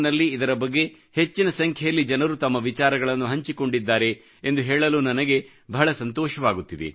in ನಲ್ಲಿ ಇದರ ಬಗ್ಗೆ ಹೆಚ್ಚಿನ ಸಂಖ್ಯೆಯಲ್ಲಿ ಜನರು ತಮ್ಮ ವಿಚಾರಗಳನ್ನು ಹಂಚಿಕೊಂಡಿದ್ದಾರೆ ಎಂದು ಹೇಳಲು ನನಗೆ ಬಹಳ ಸಂತೋಷವಾಗುತ್ತಿದೆ